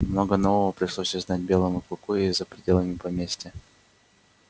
много нового пришлось узнать белому клыку и за пределами поместья